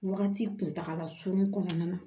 Wagati kuntagala surunni kɔnɔna na